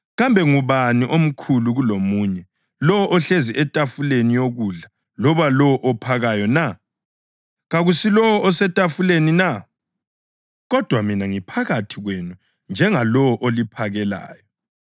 Kambe ngubani omkhulu kulomunye, lowo ohlezi etafuleni yokudla loba lowo ophakayo na? Kakusilowo osetafuleni na? Kodwa mina ngiphakathi kwenu njengalowo oliphakelayo.